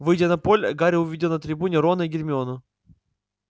выйдя на поле гарри увидел на трибуне рона и гермиону